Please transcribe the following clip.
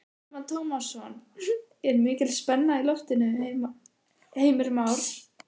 Telma Tómasson: Er mikil spenna í loftinu Heimir Már?